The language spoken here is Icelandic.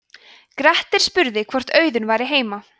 grettir spurði hvort auðunn væri heima